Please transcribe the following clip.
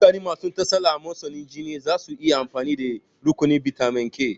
Mutane masu tsala amosanin jini zasu iya amfani da rukunin maganin bitamin K